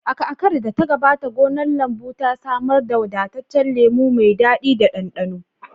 A kakar da ta gabata, gonar lambu ta samar da wadataccen lemu mai daɗi da ɗanɗano.